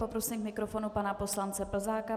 Poprosím k mikrofonu pana poslance Plzáka.